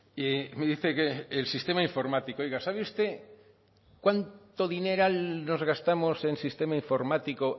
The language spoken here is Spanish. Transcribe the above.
y me dice que el sistema informático oiga sabe usted cuánto dineral nos gastamos en sistema informático